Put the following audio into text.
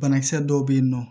Banakisɛ dɔw bɛ yen nɔ